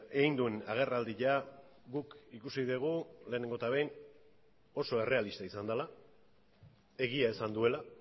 egin duen agerraldia guk ikusi dugu lehenengo eta behin oso errealista izan dela egia esan duela